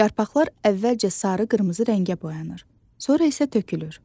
Yarpaqlar əvvəlcə sarı-qırmızı rəngə boyanır, sonra isə tökülür.